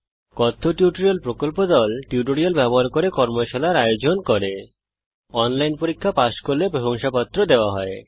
কথ্য টিউটোরিয়াল প্রকল্প দল কথ্য টিউটোরিয়াল ব্যবহার করে কর্মশালার আয়োজন করে এবং অনলাইন পরীক্ষা পাস করলে প্রশংসাপত্র দেওয়া হয়